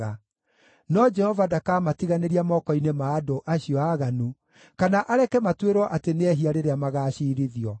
no Jehova ndakamatiganĩria moko-inĩ ma andũ acio aaganu, kana areke matuĩrwo atĩ nĩ ehia rĩrĩa magaaciirithio.